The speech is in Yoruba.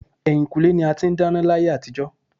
Ẹ̀yìnkùlé ni a ti ń dáná láyé àtijó.